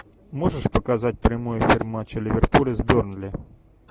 можешь показать прямой эфир матча ливерпуль с бернли